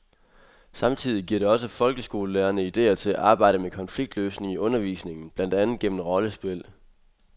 Samtidig giver det også folkeskolelærerne idéer til at arbejde med konfliktløsning i undervisningen, blandt andet gennem rollespil.